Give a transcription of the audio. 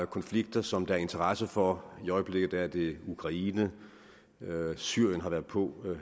konflikter som der er interesse for i øjeblikket er det ukraine syrien har været på